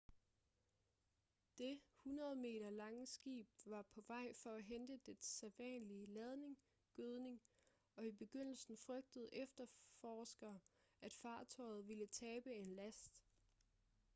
det 100-meter lange skib var på vej for at hente dets sædvanlige ladning gødning og i begyndelsen frygtede efterforskere at fartøjet ville tabe en last